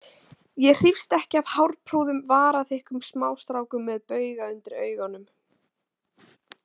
Ég hrífst ekki af hárprúðum varaþykkum smástrákum með bauga undir augunum.